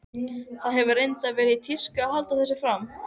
Það hefur reyndar verið í tísku að halda þessu fram.